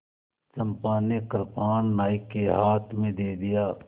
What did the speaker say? चंपा ने कृपाण नायक के हाथ में दे दिया